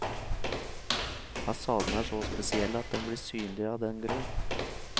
Fasaden er så spesiell at den blir synlig av den grunn.